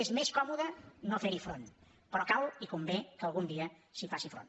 és més còmode no fer hi front però cal i convé que algun dia s’hi faci front